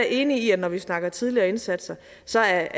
enig i at når vi snakker om tidligere indsatser så er